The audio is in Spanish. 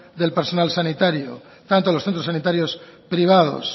del personal sanitario tanto los centros sanitarios privados